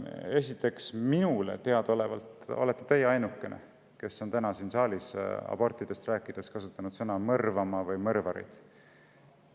Esiteks, minule teadaolevalt olete teie ainukene, kes on täna siin saalis abortidest rääkides kasutanud sõna "mõrvama" või "mõrvarid".